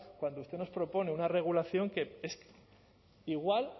cuando usted nos propone una regulación que es igual